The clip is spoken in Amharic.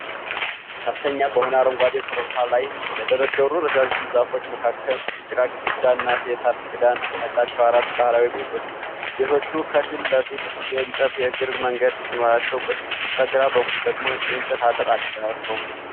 ከፍተኛ በሆነ አረንጓዴ ኮረብታ ላይ በተደረደሩ ረዣዥም ዛፎች መካከል የጭቃ ግድግዳ እና የሳር ክዳን ያላቸው አራት ባህላዊ ቤቶች ። ቤቶቹ ከፊት ለፊት የእንጨት የእግር መንገድ ሲኖራቸው፣ በስተግራ በኩል ደግሞ የእንጨት አጥር አላቸው ።